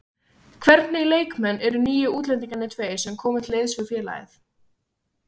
Hvernig leikmenn eru nýju útlendingarnir tveir sem komu til liðs við félagið?